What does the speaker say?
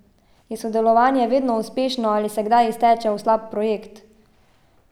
Je sodelovanje vedno uspešno ali se kdaj izteče v slab projekt?